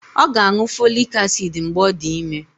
Ọ ga-aṅụ folic acid mgbe ọ dị ime